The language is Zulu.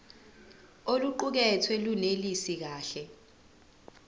oluqukethwe lunelisi kahle